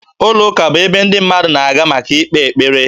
Ụlọụka bụ ebe ndị mmadụ na-aga maka ịkpe ekpere